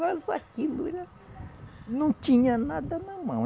Mas aquilo era, não tinha nada na mão.